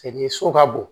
so ka bon